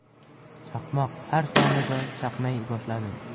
Chaqmoq har soniyada chaqnay boshladi.